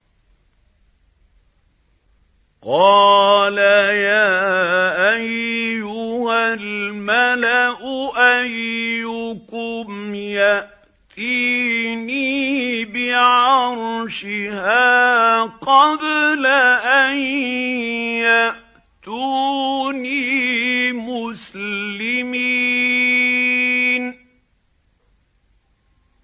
قَالَ يَا أَيُّهَا الْمَلَأُ أَيُّكُمْ يَأْتِينِي بِعَرْشِهَا قَبْلَ أَن يَأْتُونِي مُسْلِمِينَ